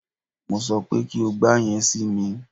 Mo sọ pé kí o gba yẹn si mi!